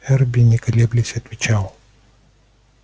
эрби не колеблясь отвечал